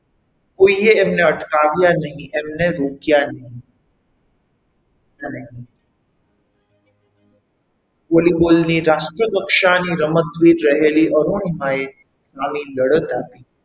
કોઈએ એમને અટકાવ્યા નહીં કોઈએ એમને રોક્યા નહીં અને volleyball ની રાષ્ટ્ર કક્ષાની રમતવી રહેલી અરુણિમાએ આવી લડત આપી.